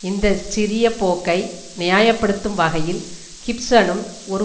இந்த சிறிய போக்கை நியாய படுத்தும் வகையில் கிப்சனும் ஒரு